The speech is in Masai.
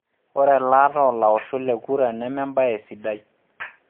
Ore elaata oo laoshok le kura neme embaye sidai.